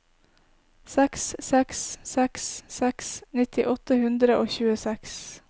seks seks seks seks nitti åtte hundre og tjueseks